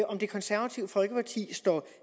om det konservative folkeparti står